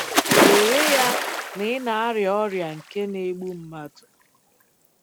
Were ya na ị na-arịa ọrịa nke na-egbu mmadụ.